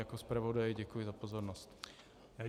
Jako zpravodaj děkuji za pozornost.